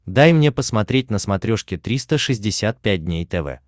дай мне посмотреть на смотрешке триста шестьдесят пять дней тв